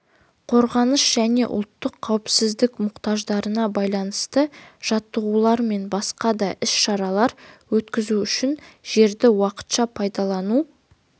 қорғаныс және ұлттық қауіпсіздік мұқтаждарына байланысты жаттығулар мен басқа да іс-шаралар өткізу үшін жерді уақытша пайдалану